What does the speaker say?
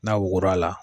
N'a wugura la